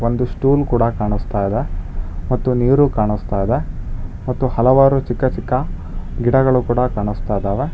ಒಂದು ಸ್ಟೂಲ್ ಕೂಡ ಕಾಣಿಸ್ತಾ ಇದೆ ಮತ್ತು ನೀರು ಕಾಣಿಸ್ತಾ ಇದೆ ಮತ್ತು ಹಲವಾರು ಚಿಕ್ಕ ಚಿಕ್ಕ ಗಿಡಗಳು ಕಾಣಿಸ್ತಾ ಇದಾವೆ.